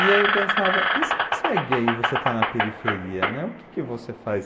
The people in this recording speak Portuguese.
E aí eu pensava, e se você é gay e você está na periferia, né, o que que você faz?